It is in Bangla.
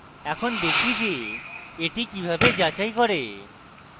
এখন দেখি যে এটি কিভাবে যাচাই করে